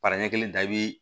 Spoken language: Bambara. Para ɲɛ kelen da i bi